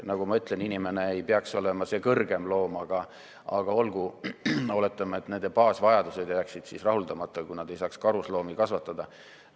Nagu ma ütlesin, inimene ei peaks olema see kõrgem loom, aga olgu, oletame, et nende baasvajadused jääksid siis rahuldamata, kui nad ei saaks karusloomi kasvatada.